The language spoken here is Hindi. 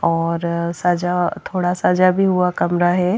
और सजा थोड़ा सजा भी हुआ कमरा है।